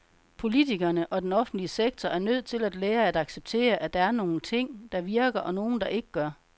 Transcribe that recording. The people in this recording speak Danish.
Politikerne og den offentlige sektor er nødt til at lære at acceptere, at der er nogle ting, der virker, og nogle der ikke gør.